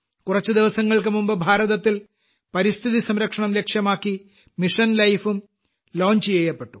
കുറച്ചു ദിവസങ്ങൾക്കുമുമ്പ് ഭാരതത്തിൽ പരിസ്ഥിതിസംരക്ഷണം ലക്ഷ്യമാക്കി മിഷൻ ലൈഫ് ഉം ലോഞ്ച് ചെയ്യപ്പെട്ടു